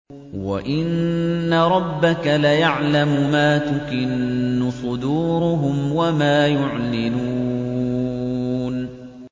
وَإِنَّ رَبَّكَ لَيَعْلَمُ مَا تُكِنُّ صُدُورُهُمْ وَمَا يُعْلِنُونَ